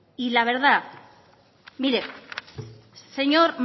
y la verdad mire señor